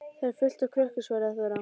Þar er fullt af krökkum, svaraði Þóra.